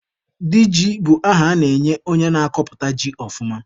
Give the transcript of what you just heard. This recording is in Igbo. Diji bụ aha a na-enye onye na-akọpụta ji ọfụma